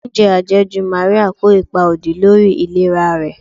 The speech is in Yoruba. Oúnjẹ àjẹjù Maria kó ipa òdì lórí ìlera rẹ̀.